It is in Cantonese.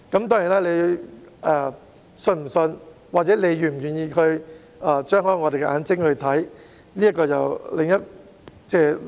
當然，你是否相信，或者是否願意張開眼睛去看，這是另一回事。